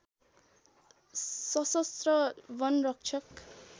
सशस्त्र वनरक्षक